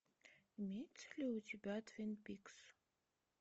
имеется ли у тебя твин пикс